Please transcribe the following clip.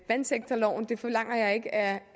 vandsektorloven jeg forlanger ikke at